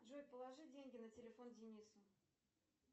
джой положи деньги на телефон денису